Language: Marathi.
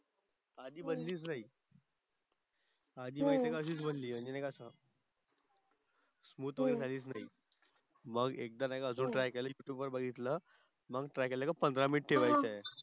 आधी बनलीच नाही आधी माहिती आहे का अशीच बनली म्हणजे नाही का स्मूथ वगैरे झालीच नाही. मग एकदा नाही का अजून ट्राय केली युट्युब वर बघितलं मग try केलं का पंधरा minute ठेवायचंय.